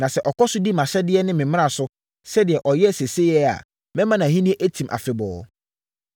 Na sɛ ɔkɔ so di mʼahyɛdeɛ ne me mmara so, sɛdeɛ ɔyɛ seesei yi a, mɛma nʼahennie atim afebɔɔ.’